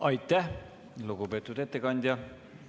Aitäh, lugupeetud ettekandja!